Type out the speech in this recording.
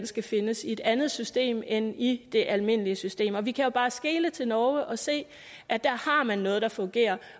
skal findes i et andet system end i det almindelige system og vi kan jo bare skele til norge og se at der har man noget der fungerer